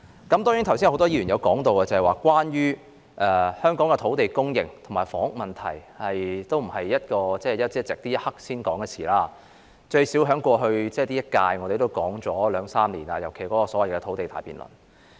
很多議員剛才提到，香港的土地供應及房屋問題並非一朝一夕，亦非現在才作討論，我們在本屆任期也至少討論了兩三年，尤其是在所謂的土地大辯論。